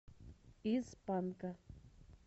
из панка